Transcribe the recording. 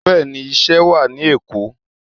Bẹ́ẹ̀ni, iṣẹ́ wá ní Èkó.